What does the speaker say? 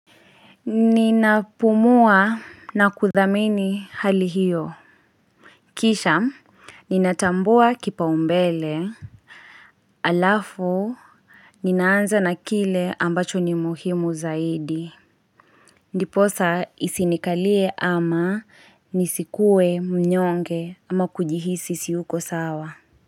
Ninapumua na kudhamini hali hiyo Kisha, ninatambua kipao mbele alafu Ninaanza na kile ambacho ni muhimu zaidi Ndiposa isinikalie ama nisikue mnyonge ama kujihisi siyuko sawa.